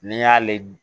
N'i y'ale